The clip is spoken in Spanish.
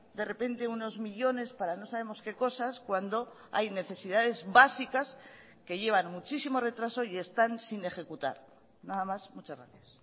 de repente unos millónes para no sabemos qué cosas cuando hay necesidades básicas que llevan muchísimo retraso y están sin ejecutar nada más muchas gracias